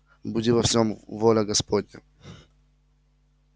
буди во всем воля господня